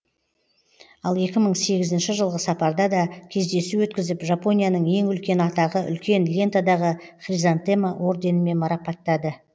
ал екі мың сегізінші жылғы сапарда да кездесу өткізіп жапонияның ең үлкен атағы үлкен лентадағы хризантема орденімен марапаттады